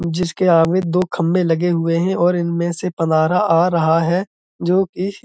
जिसके आगे दो खंभे लगे हुए हैं और इनमें से पनारा आ रहा है। जो कि --